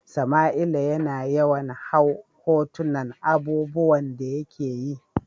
Samaila ya na yawan hau hotunan abubuwan da ya ke yi.